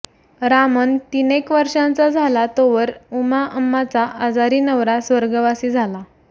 रामन तीनेक वर्षांचा झाला तोवर उमाअम्माचा आजारी नवरा स्वर्गवासी झाला